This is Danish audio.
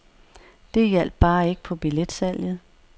Det hjalp bare ikke på billetsalget.